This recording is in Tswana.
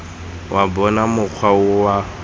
wa bona mokgwa o wa